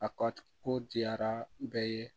A ka ko diyara bɛɛ ye